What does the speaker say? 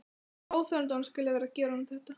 Óþolandi að hún skuli vera að gera honum þetta!